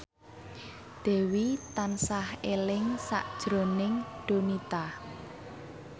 Dewi tansah eling sakjroning Donita